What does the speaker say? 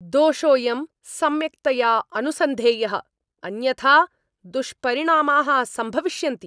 दोषोऽयं सम्यक्तया अनुसन्धेयः, अन्यथा दुष्परिणामाः सम्भविष्यन्ति!